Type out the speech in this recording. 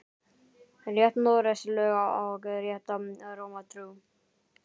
Rétt Noregs lög og rétta Rómar trú